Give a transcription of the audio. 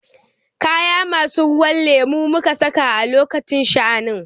Kaya masu kalan ruwan lemo muka saka a lokacin sha'anin.